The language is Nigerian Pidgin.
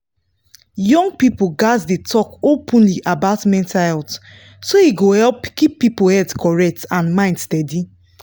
young people gats dey talk openly about mental health so e go help keep people head correct and mind steady.